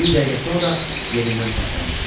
Bir dəqiqə sonra yerindən tərpəndi.